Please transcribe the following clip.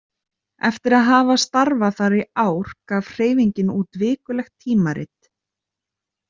Eftir að hafa starfað þar í ár gaf hreyfingin út vikulegt tímarit.